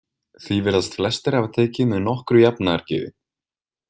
Því virðast flestir hafa tekið með nokkru jafnaðargeði.